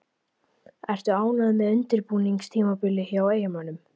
Ertu ánægður með undirbúningstímabilið hjá Eyjamönnum?